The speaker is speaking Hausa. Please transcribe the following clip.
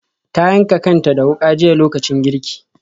Ta yanka kanta da wuka jiya lokacin girki.